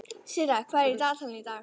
Sirra, hvað er í dagatalinu í dag?